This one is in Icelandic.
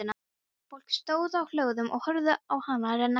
Fólk stóð á hlöðum og horfði á hana renna hjá.